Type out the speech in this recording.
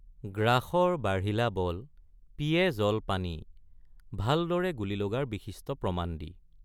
গ্ৰাসৰ বাঢ়িলা বলপিয়ে জলপানী ভালদৰে গুলী লগাৰ বিশিষ্ট প্ৰমাণ দি।